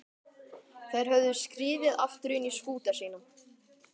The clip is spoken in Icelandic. Þær höfðu skriðið aftur inn í skúta sína.